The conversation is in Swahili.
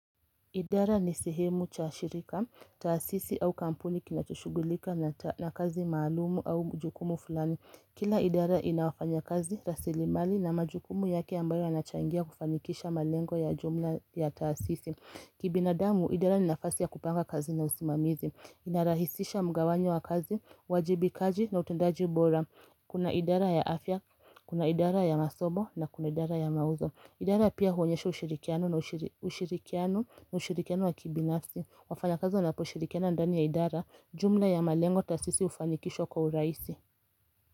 Idara ni sehemu ya shirika, taasisi au kampuni inachushugulika na kazi maalumu au jukumu fulani. Kila idara inawafanya kazi, rasilimali na majukumu yake ambayo yanachangia kufanikisha malengo ya jumla ya taasisi. Kibinadamu, idara ni nafasi ya kupanga kazi na usimamizi. Inarahisisha mgawanyo wa kazi, uwajibikaji na utendaji ubora. Kuna idara ya afya, kuna idara ya masomo na kuna idara ya mauzo. Idara pia huonyesha ushirikiano na kushirikiana wa kibinasi. Wafanyakazi wanapo shirikiana ndani ya idara, jumla ya malengo taasisi hufanikishwa kwa urahisi.